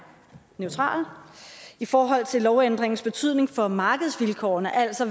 neutrale i forhold til lovændringens betydning for markedsvilkårene altså